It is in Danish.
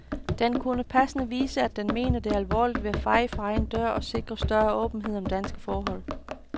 Den kunne passende vise, at den mener det alvorligt ved at feje for egen dør og sikre større åbenhed om danske forhold.